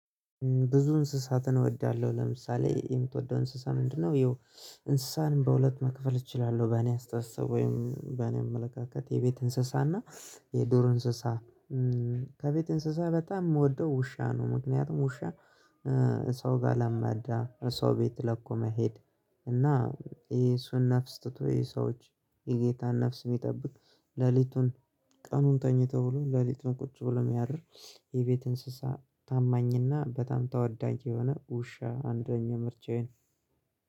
ብዙ እንስሳትን እወዳለሁ ለምሳሌ የምትወደው እንስሳ ምንድነው? ይኸው እንስሳን በሁለት መክፈል እችላለሁ በእኔ አስተሳሰብ ወይም በእኔ አመለካከት የቤት እንስሳና የዱር እንስሳ። ከቤት እንስሳ በጣም የምወደው ውሻ ነው። ምክንያቱም ውሻ ሰው ጋር ለመዳ ሰው ቤት ለኮ መሄድ። እና ይሄ እሱን ነፍስ ትቶ ይሄ ሰዎች የጌታን ነፍስ የሚጠብቅ ሌሊቱን ቀኑን ተኝተው ብሎ ሌሊቱን ቁጭ ብሎ የሚያደር። የቤት እንስሳ ታማኝና በጣም ተወዳጅ የሆነ ውሻ አንደኛ ምርጫዬን።